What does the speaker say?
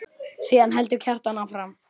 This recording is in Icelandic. Síðan heldur Kjartan áfram